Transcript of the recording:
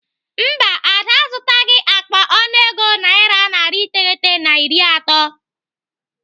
Mba, Ada azụtaghị akpa ọnụego naira narị iteghete na iri atọ.